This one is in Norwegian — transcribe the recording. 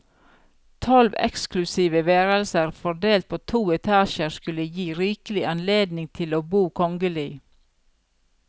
Tolv eksklusive værelser fordelt på to etasjer skulle gi rikelig anledning til å bo kongelig.